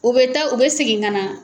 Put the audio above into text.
U bɛ taa u bɛ segin ka na.